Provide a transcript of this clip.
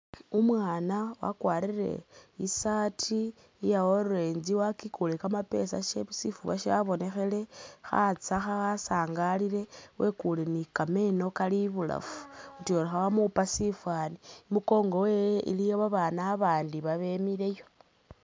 Umwana akwarire i’shirt iya orange wakyikule kamapesa shifuba shabonekhele khatsekha wasangalile wekule ni kameno kali ibulafu tyori khebamupa shi’fani imukongo wewe iliyo abana abandi babemileyo.